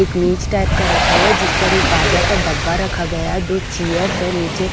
एक मेज टाइप का रखा हुआ है जिस पर एक बाजा का डब्बा रखा गया है दो चेयर्स है नीचे--